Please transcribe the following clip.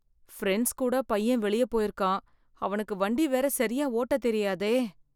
Friends கூட பையன் வெளிய போயிருக்கான், அவனுக்கு வண்டி வேற சரியா ஓட்ட தெரியாதே.